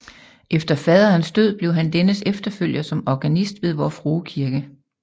Efter faderens død blev han dennes efterfølger som organist ved Vor Frue Kirke